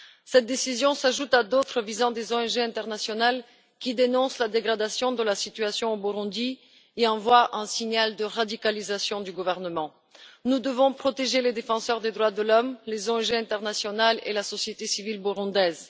Cette décision s'ajoute à d'autres visant des ONG internationales qui dénoncent la dégradation de la situation au Burundi et envoie un signal de radicalisation du gouvernement. Nous devons protéger les défenseurs des droits de l'homme, les ONG internationales et la société civile burundaise.